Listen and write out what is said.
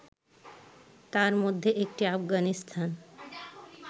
তার মধ্যে একটি আফগানিস্তান